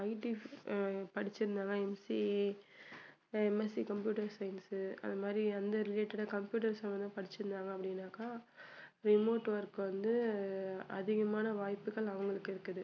IT அஹ் படிச்சுருந்தாதான் MCAMSC computer science உ அதுமாதிரி அந்த related ஆ computer சம்மந்தமா படிச்சிருந்தாங்க அப்படின்னாக்கா remote work வந்து அதிகமான வாய்ப்புகள் அவங்களுக்கு இருக்குது